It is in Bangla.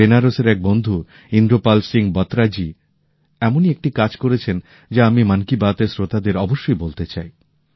আমার বেনারসের এক বন্ধু ইন্দ্রপাল সিং বত্রা জী এমন একটি কাজ করেছেন যা আমি মন কি বাত র শ্রোতাদের অবশ্যই বলতে চাই